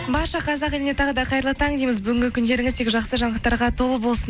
барша қазақ еліне тағы да қайырлы таң дейміз бүгінгі күндеріңіз тек жақсы жаңалықтарға толы болсын